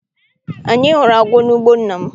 Anyị hụrụ agwọ n'ugbo nna m.